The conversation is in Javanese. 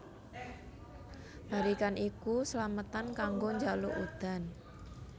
Barikan iku slametan kanggo njaluk udan